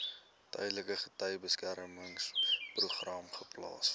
tydelike getuiebeskermingsprogram geplaas